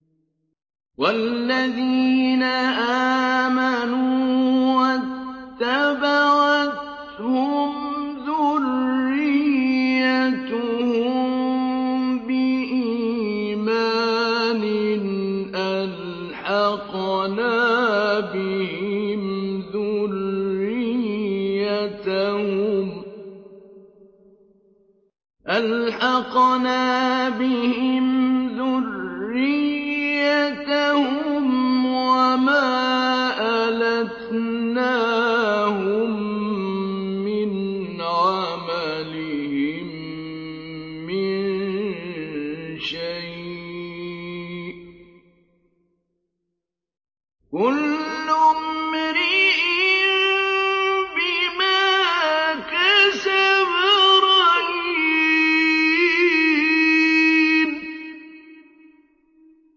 وَالَّذِينَ آمَنُوا وَاتَّبَعَتْهُمْ ذُرِّيَّتُهُم بِإِيمَانٍ أَلْحَقْنَا بِهِمْ ذُرِّيَّتَهُمْ وَمَا أَلَتْنَاهُم مِّنْ عَمَلِهِم مِّن شَيْءٍ ۚ كُلُّ امْرِئٍ بِمَا كَسَبَ رَهِينٌ